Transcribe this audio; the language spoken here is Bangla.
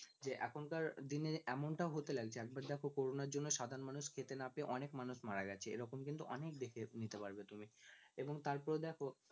যে এখনকার দিনে এমন টাও হতে লাগছে একবার দেখো CORONA এর জন্য সাধারণ মানুষ খেতে না পেয়ে অনেক মানুষ মারা গেছে এরকম কিন্তু অনেক দেখে নিতে পারবে তুমি এবং তারপরে দেখো